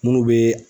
Munnu be